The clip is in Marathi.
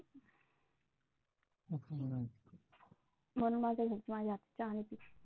म्हणून माझ्या घरचे माझ्या हातचा चहा नाही पीत.